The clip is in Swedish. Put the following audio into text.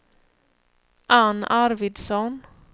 Anne Arvidsson